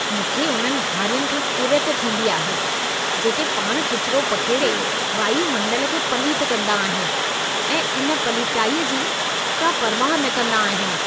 मूंखे उन्हनि हारियुनि खां किरियत थींदी आहे जेके पाण किचिरो पखेड़े वायू मंडल खे पलीत कंदा आहिनि ऐं इन पलीताईअ जी का परवाह न कंदा आहिनि।